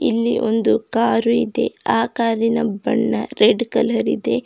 ಇಲ್ಲಿ ಒಂದು ಕಾರು ಇದೆ ಆ ಕಾರಿನ ಬಣ್ಣ ರೆಡ್ ಕಲರ್ ಇದೆ.